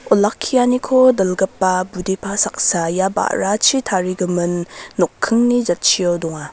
olakkianiko dilgipa budepa saksa ia ba·rachi tarigimin nokkingni jatchio donga.